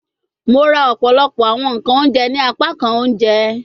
Mo ra ọpọlọpọ awọn nkan ounjẹ ni apakan ounjẹ